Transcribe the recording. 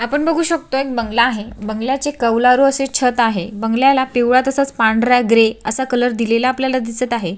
आपण बघू शकतो एक बंगला आहे बंगल्याचे कवलारू असे छत आहे बंगल्याला पिवळा तसच पांढरा ग्रे कलर आपल्याला दिलेला दिसत आहे.